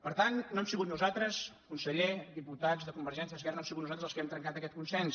per tant no hem sigut nosaltres conseller diputats de convergència esquerra no hem sigut nosaltres els que hem trencat aquest consens